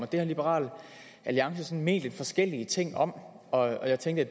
det har liberal alliance ment lidt forskellige ting om og jeg tænkte